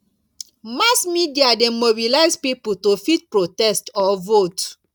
mass media de mobilize pipo to fit protest or vote